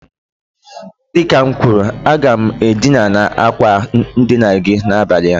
Dịka m kwuru, aga m edina na àkwà ndina gi n'abalị a